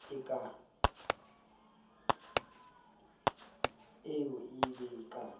e ye e be ka